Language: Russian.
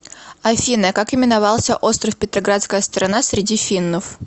афина как именовался остров петроградская сторона среди финнов